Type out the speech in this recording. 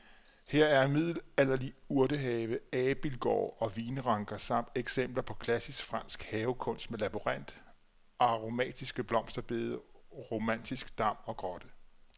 Her er middelalderlig urtehave, abildgård og vinranker samt eksempler på klassisk fransk havekunst med labyrint, aromatiske blomsterbede, romantisk dam og grotte.